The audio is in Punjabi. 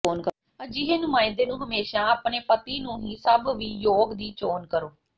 ਅਜਿਹੇ ਨੁਮਾਇੰਦੇ ਨੂੰ ਹਮੇਸ਼ਾ ਆਪਣੇ ਪਤੀ ਨੂੰ ਹੀ ਸਭ ਵੀ ਯੋਗ ਦੀ ਚੋਣ ਕਰੋ